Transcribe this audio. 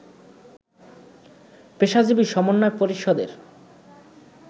পেশাজীবী সমন্বয় পরিষদের